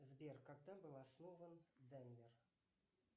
сбер когда был основан денвер